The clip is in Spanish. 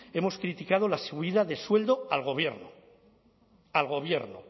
hemos criticado la subida de sueldo al gobierno al gobierno